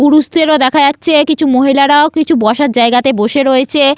পুরুষদেরও দেখা যাচ্ছে কিছু মহিলারাও কিছু বসার জায়গাতে বসে রয়েচে-এ।